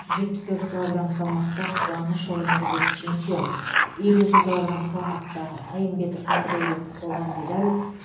жетпіс төрт килограмм салмақта қуанышұлы нұрбек чемпион елу екі килограмм салмақта әймбетов нұрдаулет қола медаль